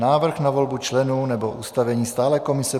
Návrh na volbu členů nebo ustavení stálé komise